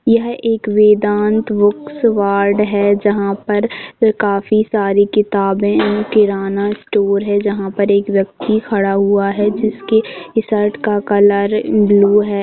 यह एक Vedanta books world है जहाँ पर काफी सारी किताबें किराना स्टोर है जहाँ पर एक व्यक्ति खड़ा हुआ है जिसकी शर्ट का कलर ब्लू हैं।